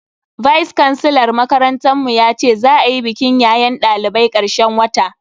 Vice kansilar makarantar mu yace za a yi bikin yayen dalibai karshen wata